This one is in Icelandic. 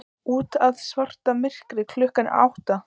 Úti er svarta myrkur, klukkan er átta.